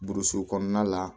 Burusi kɔnɔna la